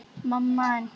BAUJA: En hvar er Lárus?